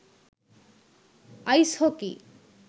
ice hockey